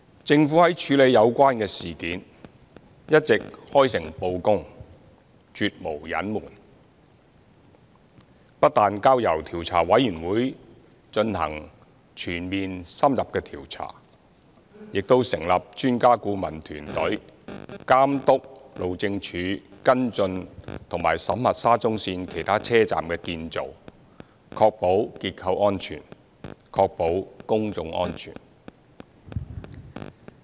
政府在處理有關事件時一直開誠布公、絕無隱瞞，不但交由調查委員會進行全面、深入的調查，亦成立專家顧問團隊監督路政署跟進及審核沙中線其他車站的建造，確保結構安全和公眾安全。